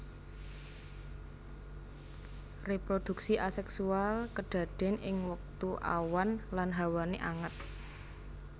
Reproduksi aseksual kadaden ing wektu awan lan hawané anget